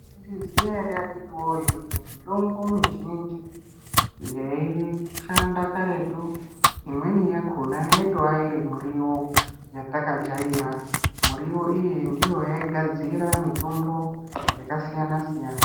Munozviziya ere akhiti woye kuti mitombo mizhinji yaishanda karetu imweni yakhona yaitowa iri muriwo yatakajaira. Muriwo iyi ndiyo yaigadzira mitombo yakasiyana -siyana.